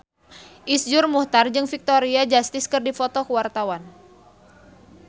Iszur Muchtar jeung Victoria Justice keur dipoto ku wartawan